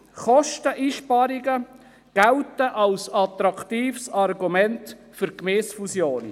Kosteneinsparungen gelten als attraktives Argument für Gemeindefusionen.